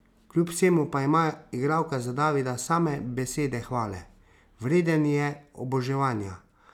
Kljub vsemu pa ima igralka za Davida same besede hvale: "Vreden je oboževanja.